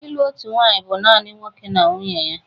Ịlụ otu nwaanyị bụ naanị nwoke na nwunye ya